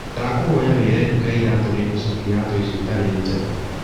Ndakũhoya wiire nduka ya iratũ nĩngũcokia iratũ icio itarĩ njega